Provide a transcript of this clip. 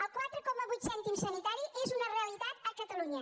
els quatre coma vuit cèntims sanitaris és una realitat a catalunya